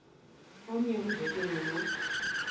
omnye umzekelo lo